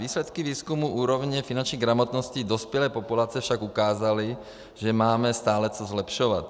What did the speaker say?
Výsledky výzkumu úrovně finanční gramotnosti dospělé populace však ukázaly, že máme stále co zlepšovat.